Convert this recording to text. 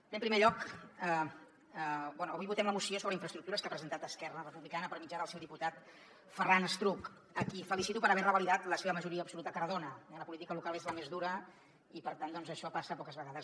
bé en primer lloc avui votem la moció sobre infraestructures que ha presentat esquerra republicana per mitjà del seu diputat ferran estruch a qui felicito per haver revalidat la seva majoria absoluta a cardona eh la política local és la més dura i per tant doncs això passa poques vegades